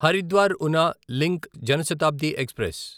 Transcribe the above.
Haridwar Una link Janshatabdi express